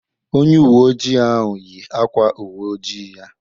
Onye uwe ojii ahụ yi ákwá uwe ojii ya.